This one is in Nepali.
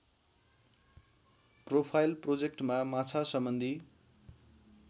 प्रोफाइल प्रोजेक्टमा माछासम्बन्धी